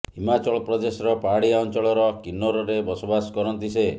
ହିମାଚଳ ପ୍ରଦେଶର ପାହାଡିଆ ଅଂଚଳର କିନ୍ନୋରରେ ବସବାସ କରନ୍ତି ସେ